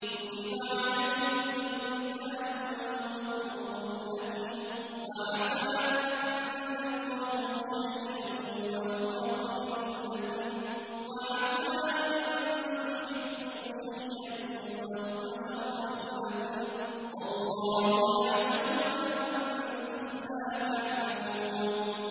كُتِبَ عَلَيْكُمُ الْقِتَالُ وَهُوَ كُرْهٌ لَّكُمْ ۖ وَعَسَىٰ أَن تَكْرَهُوا شَيْئًا وَهُوَ خَيْرٌ لَّكُمْ ۖ وَعَسَىٰ أَن تُحِبُّوا شَيْئًا وَهُوَ شَرٌّ لَّكُمْ ۗ وَاللَّهُ يَعْلَمُ وَأَنتُمْ لَا تَعْلَمُونَ